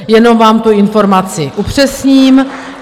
Jenom vám tu informaci upřesním.